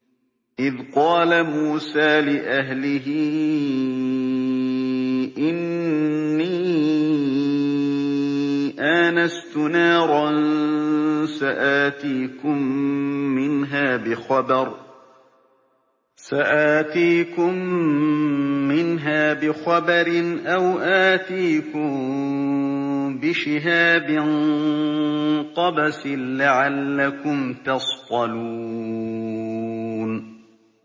إِذْ قَالَ مُوسَىٰ لِأَهْلِهِ إِنِّي آنَسْتُ نَارًا سَآتِيكُم مِّنْهَا بِخَبَرٍ أَوْ آتِيكُم بِشِهَابٍ قَبَسٍ لَّعَلَّكُمْ تَصْطَلُونَ